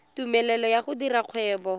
tumelelo ya go dira kgwebo